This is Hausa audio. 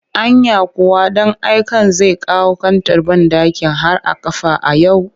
Anya kuwa ɗan aiken zai kawo kantar banɗakin har a kafa a yau